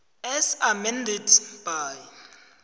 as amended by